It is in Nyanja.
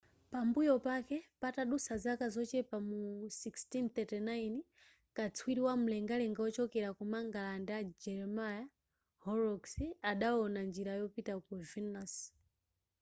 pambuyo pake patadutsa zaka zochepa mu 1639 katswiri wamlengalenga wochokera ku mangalande a jeremiah horrocks adawona njira yopita ku venus